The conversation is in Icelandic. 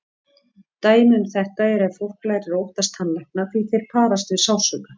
Dæmi um þetta er ef fólk lærir að óttast tannlækna því þeir parast við sársauka.